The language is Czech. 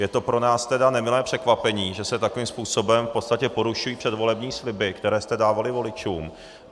Je to pro nás tedy nemilé překvapení, že se takovým způsobem v podstatě porušují předvolební sliby, které jste dávali voličům.